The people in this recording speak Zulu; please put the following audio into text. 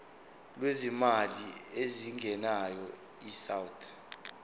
lwezimali ezingenayo isouth